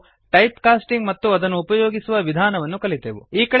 ಮತ್ತು type casting ಮತ್ತು ಅದನ್ನು ಉಪಯೋಗಿಸುವ ವಿಧಾನವನ್ನು ಕಲಿತೆವು